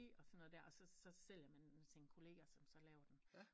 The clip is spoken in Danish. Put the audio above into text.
Og sådan noget der og så sælger man det til sin kollega som så laver den